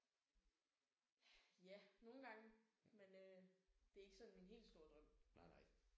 Ja nogle gange. Men øh det er ikke sådan min helt store drøm